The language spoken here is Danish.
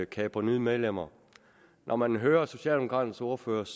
kapre nye medlemmer når man hører den socialdemokratiske ordførers